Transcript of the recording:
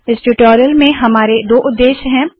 इस ट्यूटोरियल में हमारे दो उद्देश्य है